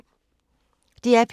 DR P2